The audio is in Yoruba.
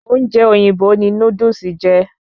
Ọ́únje òyìnbó ni Núdúsì jẹ́